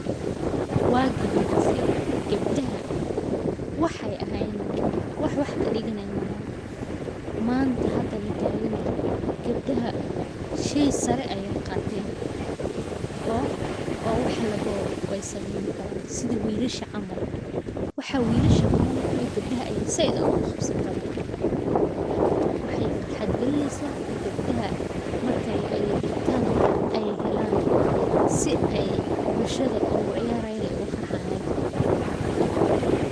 waagi horese ,gabdaha waxe ahayen malaha, waax waax ka digaanaye malahan,,manta hada la ta gaanyaho, gabdaha shey sare aye qaaten, oo waax laabo wey sameen karaan sidha wilasha caml, waaxa wilasha qabaani karaan gabdaha ayaa said qaabsibadan, waxay farhad gelinisa gebdaha maxka aya digtan wax ay helan si ay bushada ugu ciyarayan aya ufarxayan.